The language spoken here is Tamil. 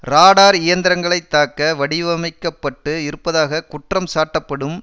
ராடார் இயந்திரங்களை தாக்க வடிவமைக்க பட்டு இருப்பதாக குற்றம் சாட்டப்படும்